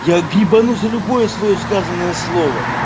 я ебану за любое своё сказанное слово